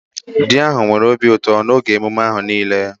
Di ahụ nwere obi ụtọ n'oge emume ahụ niile